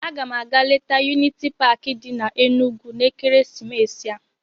Aga m aga leta yuniti paakị di n'Enugwu n'ekeresimesi a.